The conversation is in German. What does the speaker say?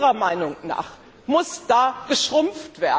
Unserer Meinung nach muss er schrumpfen.